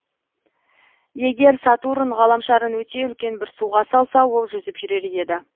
егер сатурн ғаламшарын өте үлкен бір суға салса ол жүзіп жүрер еді